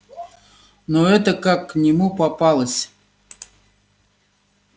но эта как к нему попалась